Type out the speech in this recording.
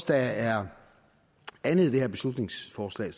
der er andet i det her beslutningsforslag